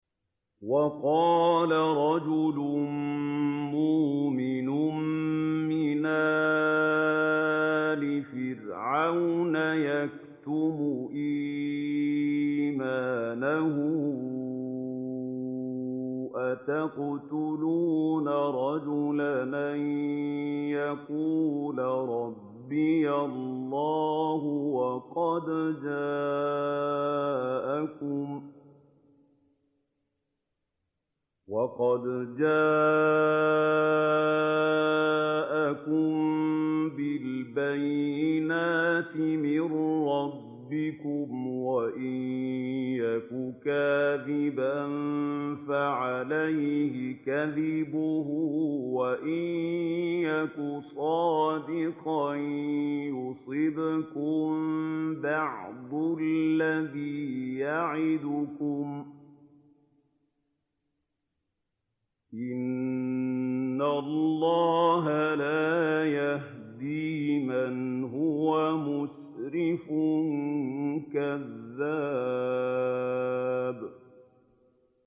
وَقَالَ رَجُلٌ مُّؤْمِنٌ مِّنْ آلِ فِرْعَوْنَ يَكْتُمُ إِيمَانَهُ أَتَقْتُلُونَ رَجُلًا أَن يَقُولَ رَبِّيَ اللَّهُ وَقَدْ جَاءَكُم بِالْبَيِّنَاتِ مِن رَّبِّكُمْ ۖ وَإِن يَكُ كَاذِبًا فَعَلَيْهِ كَذِبُهُ ۖ وَإِن يَكُ صَادِقًا يُصِبْكُم بَعْضُ الَّذِي يَعِدُكُمْ ۖ إِنَّ اللَّهَ لَا يَهْدِي مَنْ هُوَ مُسْرِفٌ كَذَّابٌ